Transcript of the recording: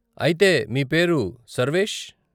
అయితే మీ పేరు సర్వేష్.